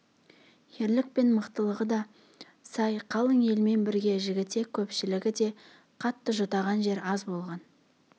ерлік пен мықтылығы да сай қалың елмен бірге жігітек көпшілігі де қатты жұтаған жер аз болған